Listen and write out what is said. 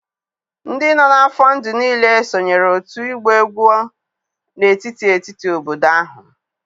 ndị nọ n'afọ ndụ niile sonyeere otu ịgba egwu n'etiti etiti obodo ahụ.